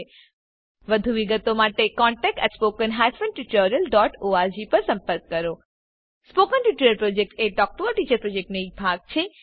વધુ વિગતો માટે કૃપા કરી contactspoken tutorialorg પર લખો spoken tutorial project talk to a teacher પ્રોજેક્ટનો એક ભાગ છે